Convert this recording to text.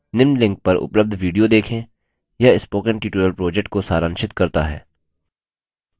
निम्न link पर उपलब्ध video देखें